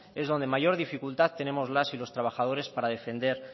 es donde mayor dificultad tenemos las y los trabajadores para defender